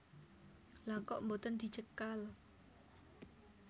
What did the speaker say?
Lha kok boten dicekal